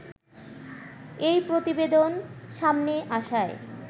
এই প্রতিবেদন সামনে আসায়